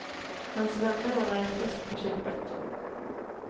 Hans vänner ordnar en fest på kyrkbacken.